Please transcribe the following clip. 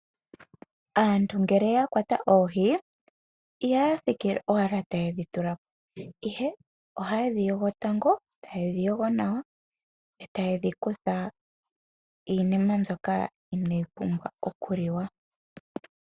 Aantu ngele ya kwata oohi ihaya thikile owala taye dhi tula po ihe ohaye dhi yogo tango yo taye dhi yogo nawa etaye dhi kutha iinima mbyoka inaayi pumbwa oku liwa.